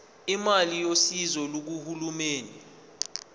imali yosizo lukahulumeni